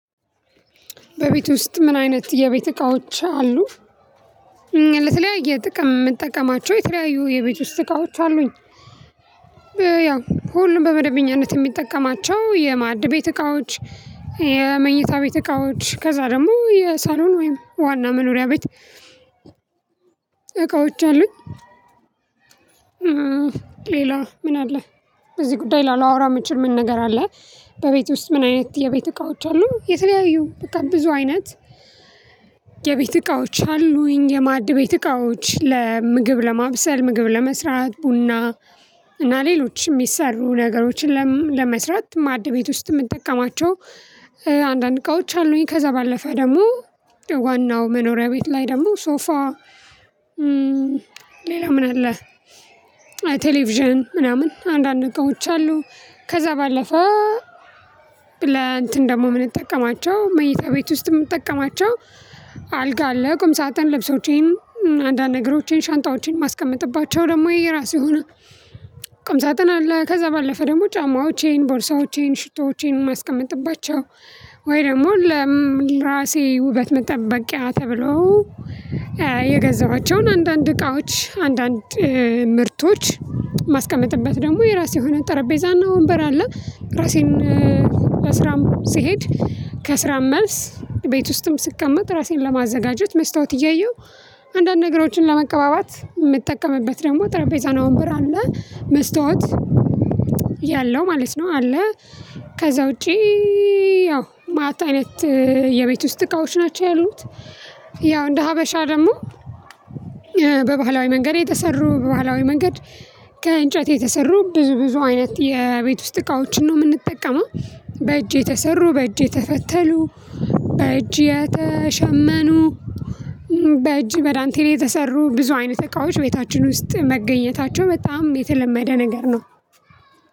በቤት ውስጥ ምን አይነት የቤት እቃዎች አሉ? ለተለያየ ጥቅም የምትጠቀማቸው የተለያዩ የቤት ውስጥ እቃዎች አሉኝ። ያው ሁሉም በመደበኛነት የሚጠቀማቸው የማድ ቤት እቃዎች። የመኝታ ቤት እቃዎች ከዛ ደግሞ የሳሎን ወይም ዋና መኖሪያ ቤት። እላወራላ አሉኝ። ሌላ ምን አለ? በዚህ ጉዳይ ላላወራ ምችል ምን ነገር አለ? በቤት ውስጥ ምን አይነት የቤት እቃዎች አሉ የተለያዩ በቃ ብዙ አይነት። የቤት እቃዎች አሉኝ የማድ ቤት እቃዎች ለምግብ ለማብሰል ምግብ ለመስራት ቡና። እና ሌሎች የሚሰሩ ነገሮችን ለመስራት ማዕድቤት ውስጥ የምንጠቀማቸው አንዳንድ እቃዎች አሉኝ። ከዛ ባለፈ ደግሞ ዋናው መኖሪያ ቤት ላይ ደግሞ ሶፋ። ሌላ ምን አለ? ቴሌቪዥን ምናምን አንዳንድ እቃዎች አሉ። ከዛ ባለፈ ለ እንትን ደግሞ የምንጠቀማቸው መኝታ ቤት ውስጥ የምንጠቀማቸው። አልጋ አለ ቁም ሳጥን ልብሶቼን አንዳንድ ነገሮቼን ሻንጣዎቼን ማስቀመጥባቸው ደግሞ የራሱ የሆነ ቅም ሳጥን አለ። ከዛ ባለፈ ደግሞ ጫማዎቼን ቦርሳዎቼን ሽቶዎቼን ማስቀመጥባቸው ወይ ደግሞ ለራሴ ውበት መጠበቂያ ተብሎ የገዛኋቸውን አንዳንድ እቃዎች አንዳንድ ምርቶች ማስቀመጥበት ደግሞ የራሴ የሆነ ጠረጴዛና ወንበር አለ። ራሴን ለስራም ስሄድ ከስራም መልስ ቤት ውስጥም ስቀመጥ ራሴን ለማዘጋጀት መስታወት እያየሁ አንዳንድ ነገሮችን ለመቀባባት የምትጠቀምበት ደግሞ ጠረጴዛ እና ወንበር አለ። መስታወት ያለው ማለት ነው አለ። ከዛ ውጪ ያው ማዕት አይነት የቤት ውስጥ እቃዎች ናቸው ያሉት። ያው እንደ ሀበሻ ደግሞ በባህላዊ መንገድ የተሰሩ በባህላዊ መንገድ ከእንጨት የተሰሩ ብዙ ብዙ አይነት የቤት ውስጥ እቃዎችን ነው የምንጠቀመው። በእጅ የተሰሩ በእጅ የተፈተሉ በእጅ የተሸመኑ በእጅ በዳንቴል የተሰሩ ብዙ አይነት እቃዎች ቤታችን ውስጥ መገኘታቸው በጣም የተለመደ ነገር ነው።